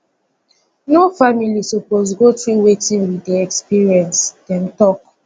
no family suppose go through wetin we dey experience dem tok